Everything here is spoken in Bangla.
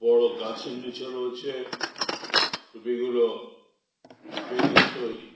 বড় গাছের নিচে রয়েছে টুপিগুলো বেতের তৈরি।